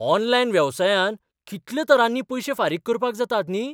Online वेवसायांत कितल्या तरांनी पयशे फारीक करपाक जातात न्ही!